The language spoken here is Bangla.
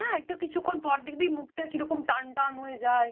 না একটু কিছুক্ষন পর দেখবি মুখ কিরকম টান টান হয়ে যায়।